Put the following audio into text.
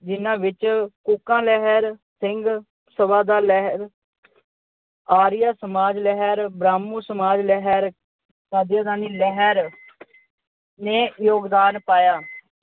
ਜਿਹਨਾਂ ਵਿੱਚ ਕੂਕਾ ਲਹਿਰ, ਸਿੰਘ ਸਭਾ ਲਹਿਰ, ਆਰੀਆ ਸਮਾਜ ਲਹਿਰ, ਬ੍ਰਾਹਮਣ ਸਮਾਜ ਲਹਿਰ, ਲਹਿਰ ਨੇ ਯੋਗਦਾਨ ਪਾਇਆ।